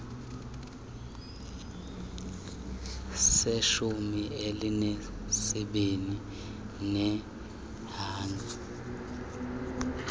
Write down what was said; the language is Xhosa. seshumi elinesibini leenyanga